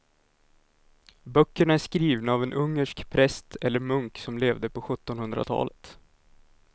Böckerna är skrivna av en ungersk präst eller munk som levde på sjuttonhundratalet.